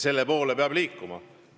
Selle poole peab liikuma.